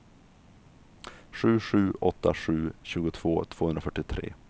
sju sju åtta sju tjugotvå tvåhundrafyrtiotre